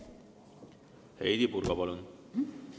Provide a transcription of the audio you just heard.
Heidy Purga, palun!